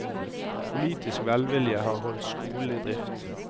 Politisk velvilje har holdt skolene i drift.